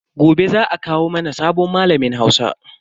Gobe za a kawo mana sabon malamin Hausa.